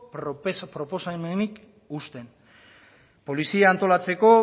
proposamenik uzten polizia antolatzeko